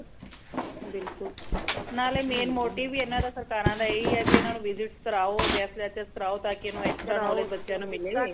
ਬਿਲਕੁਲ ਨਾਲੇ main motive ਹੀ ਏਨਾ ਦਾ ਸਰਕਾਰਾ ਦਾ ਏਹੀ ਹੈ ਭੀ ਇਨਾ ਨੂ visit ਕਰਾਓ guest lecture ਕਰਾਓ ਤਾਕਿ extra knowledge ਬੱਚਿਆਂ ਨੂ ਮਿਲੇ